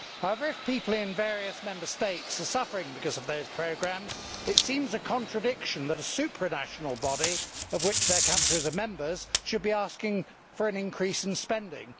However, if people in various Member States are suffering because of those programmes, it seems a contradiction that a supranational body of which their country is a member should be asking for an increase in spending.